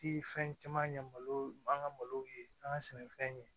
Ti fɛn caman ɲɛ malo an ka malo ye an ka sɛnɛfɛn ɲɛ